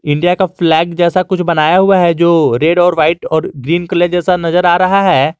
India का flag जैसा कुछ बनाया हुआ है जो रेड और वाइट और ग्रीन कलर जैसा नजर आ रहा है।